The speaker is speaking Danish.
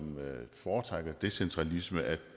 foretrækker decentralisme